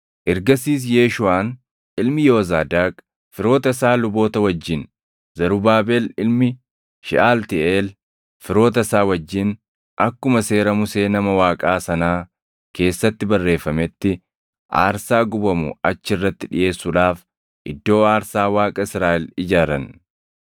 Ergasiis Yeeshuuʼaan ilmi Yoozaadaaq firoota isaa luboota wajjin, Zarubaabel ilmi Sheʼaltiiʼeel firoota isaa wajjin akkuma Seera Musee nama Waaqaa sanaa keessatti barreeffametti aarsaa gubamu achi irratti dhiʼeessuudhaaf iddoo aarsaa Waaqa Israaʼel ijaaran.